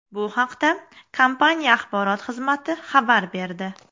Bu haqda kompaniya axborot xizmati xabar berdi .